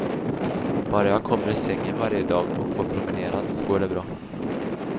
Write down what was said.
Bara jag kommer ur sängen varje dag och får promenera, så går det bra.